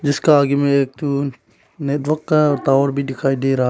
इसका आगे में एक टू नेटवर्क का टॉवर भी दिखाई दे रहा--